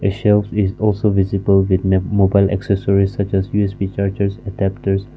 shelves is also visible with mobile accessories such as U_S_B chargers adaptors.